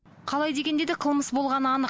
қалай дегенде де қылмыс болғаны анық